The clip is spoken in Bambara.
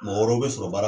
Mɔgɔ wɛrɛw bɛ sɔrɔ baara